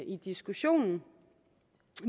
i diskussionen